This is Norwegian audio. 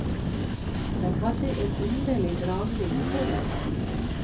Den hadde en underlig dragning på meg.